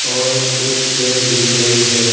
और एक खेर दिख रही है।